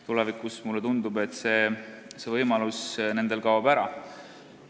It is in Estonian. Tulevikus, mulle tundub, see võimalus kaob neil ära.